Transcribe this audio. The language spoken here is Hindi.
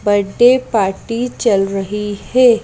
बर्थडे पार्टी चल रही है।